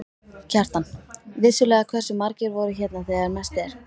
Kjartan: Vissulega, hversu margir voru hérna þegar mest er?